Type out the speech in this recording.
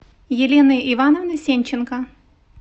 еленой ивановной сенченко